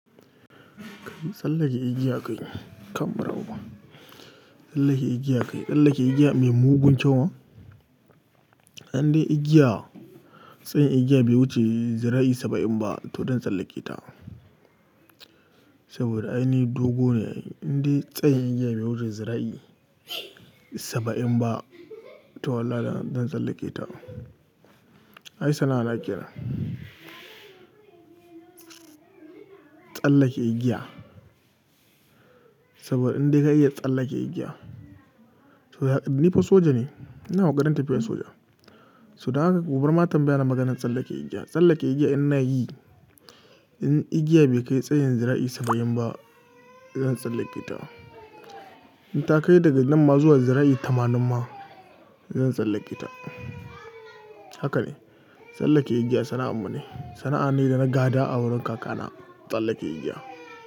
Tsallake igiya kai kam bara uba. Tsallake igiya kai, tsallake igiya mai mugun kyau ma? Indai igiya, tsayin igiya bai wuce zira'i saba'in ba to zan tsallake ta. Saboda ai ni dogo ne, indai tsayin igiya bai wuce zira'i saba'in ba to wallahi zan tsallake ta. Ai sana'a na kenan. Tsallake igiya. Saboda indai ka iya tsallake igiya. To ni fa soja ne, ina ƙoƙarin tafiya soja. So dan haka kubar ma tambaya na maganan tsallake igiya. Tsallake igiya ina yi, in igiya bai kai tsayin zira'i saba'in ba zan tsallake ta. In ta kai daga nan ma zuwa zira'i tamanin ma zan tsallake ta. Haka ne, tsallake igiya sana'ar mu ne. Sana'a ne da na gada a wurin kaka na, tsallake igiya.